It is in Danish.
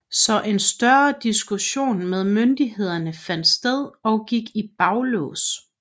Så en større diskussion med myndighederne fandt sted og gik i baglås